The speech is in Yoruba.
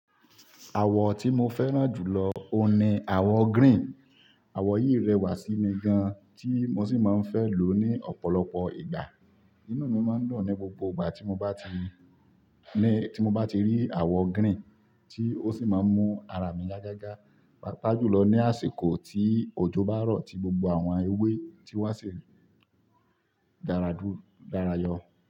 Àwọ̀ tí mo fẹ́ràn jù lọ òní àwọ̀ green. Àwọ̀ yìí rẹwà sí mi gan tí mo sì máa ń fẹ́ lò ó ní ọ̀pọ̀lọpọ̀ ìgbà. Inú mi máa ń dùn ní gbogbo ìgbà tí mo bá ti rí àwọ̀ green tí ó sì máa ń mú ara mi yá gágá, pàápàá jùlọ ní àsìkò tí òjò bá rọ̀ tí gbogbo àwọn ewé ti wá sì dáradára yọ.